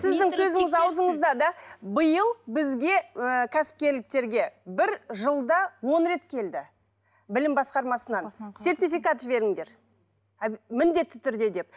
сіздің сөзіңіз аузыңызда да биыл бізге ыыы кәсіпкерліктерге бір жылда он рет келді білім басқармасынан сертификат жіберіңдер міндетті түрде деп